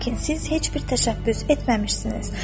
Lakin siz heç bir təşəbbüs etməmişsiniz.